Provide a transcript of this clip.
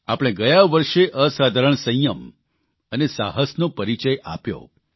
આપણે ગયા વર્ષે અસાધારણ સંયમ અને સાહસનો પરિચય આપ્યો